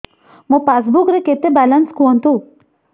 ମୋ ପାସବୁକ୍ ରେ କେତେ ବାଲାନ୍ସ କୁହନ୍ତୁ